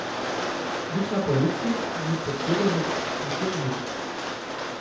Nič na polici, nič pod sedežem, nikjer nič.